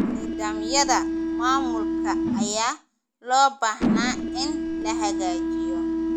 Nidaamyada maamulka ayaa loo baahnaa in la hagaajiyo.